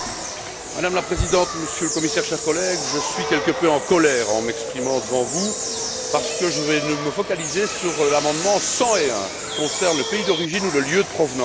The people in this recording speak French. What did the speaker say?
Madame la Présidente, Monsieur le Commissaire, chers collègues, je suis quelque peu en colère en m'exprimant devant vous, parce que je vais me focaliser sur l'amendement 101, qui concerne le pays d'origine ou le lieu de provenance.